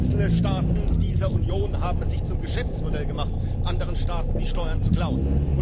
Und einzelne Staaten dieser Union haben es sich zum Geschäftsmodell gemacht, anderen Staaten die Steuern zu klauen.